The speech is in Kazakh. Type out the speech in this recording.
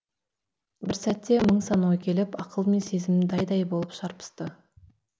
бір сәтте мың сан ой келіп ақыл мен сезім дай дай болып шарпысты